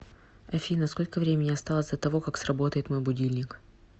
афина сколько времени осталось до того как сработает мой будильник